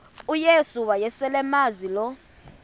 uyesu wayeselemazi lo